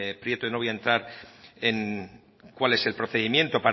prieto y no voy a entrar en cuál es el procedimiento